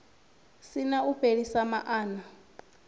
si na u fhelisa maana